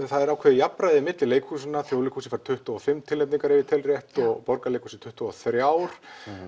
það er ákveðið jafnræði milli leikhúsanna Þjóðleikhúsið fær tuttugu og fimm tilnefningar ef ég tel rétt og Borgarleikhúsið tuttugu og þrjú